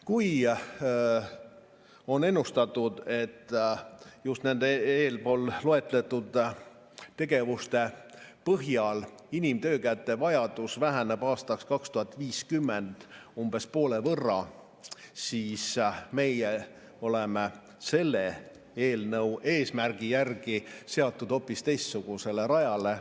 Kui on ennustatud, et just tänu nendele eespool loetletud tegevustele inimtöökäte vajadus väheneb aastaks 2050 umbes poole võrra, siis meie oleme selle eelnõu eesmärgi järgi seatud hoopis teistsugusele rajale.